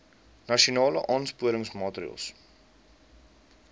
nasionale aansporingsmaatre ls